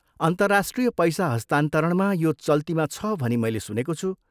अन्तर्राष्ट्रिय पैसा हस्तान्तरणमा यो चल्तीमा छ भनी मैले सुनेको छु।